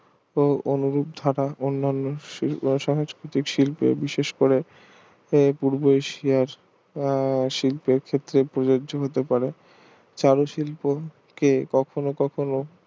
অনুভূত থাকা সংস্কৃতি শিল্প বিশেষ করে ও পূর্ব এশিয়ার আহ শিল্পের ক্ষেত্রে প্রযোজ্য হতে পারে চারু শিল্প ক কখনো কখনো